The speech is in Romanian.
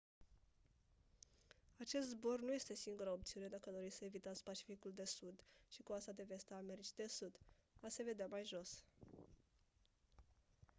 acest zbor nu este singura opțiune dacă doriți să evitați pacificul de sud și coasta de vest a americii de sud. a se vedea mai jos